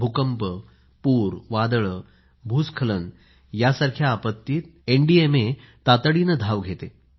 भूकंप पूर वादळे भूस्खलन यासारख्या आपत्तीत एनडीएमए तातडीने धाव घेते